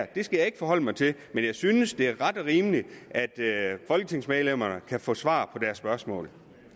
det skal jeg ikke forholde mig til men jeg synes det er ret og rimeligt at folketingsmedlemmerne kan få svar på deres spørgsmål